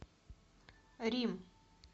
рим